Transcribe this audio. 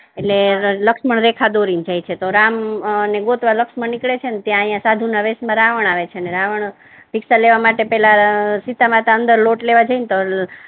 એટલે લક્ષ્મણ રેખા દોરી ને જાય છે તો રામ ને ગોતવા લક્ષ્મણ નીકળે છે ત્યારે સાધુ ના વેશ મા રાવણ આવે છે રાવણ ભિક્ષા લેવા માટે પહેલા સીતામાતા અંદર લોટ લેવા જાય ને